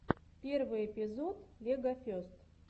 первый эпизод легофест